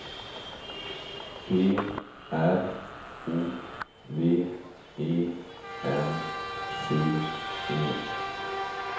P R O V E N C E